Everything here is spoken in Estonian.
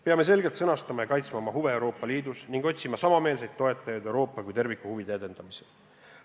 Peame selgelt sõnastama oma huvid Euroopa Liidus ja neid kaitsma, samuti otsima samameelseid toetajaid Euroopa kui terviku huvide edendamisel.